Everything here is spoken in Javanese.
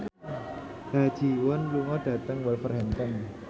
Ha Ji Won lunga dhateng Wolverhampton